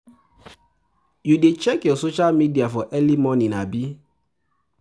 you dey check your social media for early morning, abi?